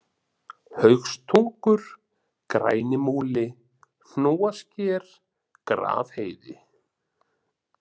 Haugstungur, Grænimúli, Hnúasker, Grafheiði